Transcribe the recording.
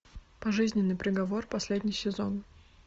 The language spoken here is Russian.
пожизненный приговор последний сезон